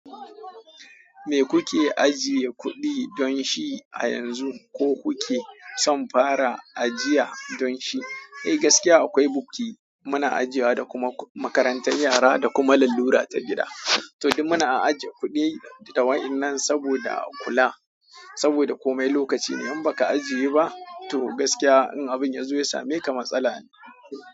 Me kuke ajiye kuɗi don shi a yanzu ko kuke son fara ajiya don shi? Eh gaskiya akwai bukki muna ajiyewa da kuma makarantar yara da kuma lallura ta gida. To dum muna ajiye kuɗi da wayan nan saboda kula, saboda komai lokaci ne in baka ajiye ba to gaskiya in abin ya zo ya sameka matsala ne.